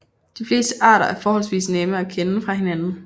De fleste arter er forholdsvis nemme at kende fra hinanden